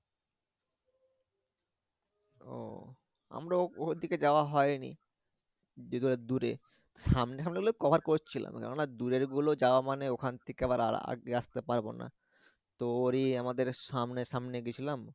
ও আমরাও ওদিকে যাওয়া হয়নি যেহেতু দূরে সামনে হলে আমরা কভার করছিলাম কেননা দূরের গুলো যাওয়া মানে ওখান থেকে আবার আগে আসতে পারব না তো ওরই আমাদের সামনে সামনে গেছিলাম